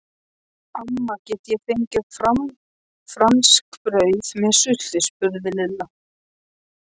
Amma, get ég fengið franskbrauð með sultu? spurði Lilla.